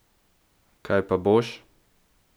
Kaj pa boš?